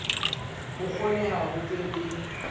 ho kgoneha ho be le